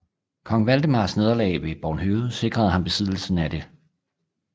Kong Valdemars nederlag ved Bornhøved sikrede ham besiddelsen af det